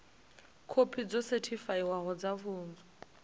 khophi dzo sethifaiwaho dza pfunzo